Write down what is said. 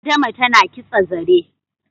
Adama tana kitsa zare